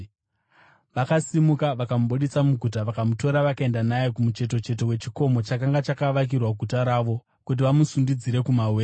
Vakasimuka, vakamubudisa muguta, vakamutora vakaenda naye kumucheto cheto kwechikomo chakanga chakavakirwa guta ravo, kuti vamusundidzire kumawere.